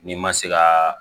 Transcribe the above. N'i ma se ka